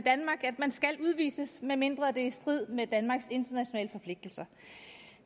at man skal udvises medmindre det er i strid med danmarks internationale forpligtelser